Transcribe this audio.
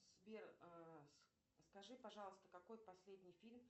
сбер скажи пожалуйста какой последний фильм